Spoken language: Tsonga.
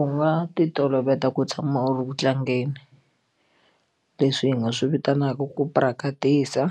U nga titoloveta ku tshama u ri ku tlangeni leswi hi nga swi vitanaka ku practice